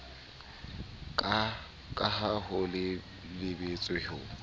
ka ha ho lebeletswe ho